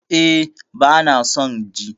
E, bana son ji